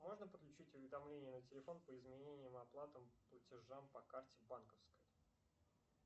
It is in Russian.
можно подключить уведомления на телефон по изменениям оплатам платежам по карте банковской